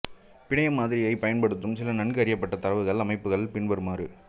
பிணைய மாதிரியைப் பயன்படுத்தும் சில நன்கு அறியப்பட்ட தரவுத்தள அமைப்புகள் பின்வருமாறு